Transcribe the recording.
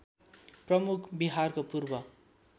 प्रमुख बिहारको पूर्व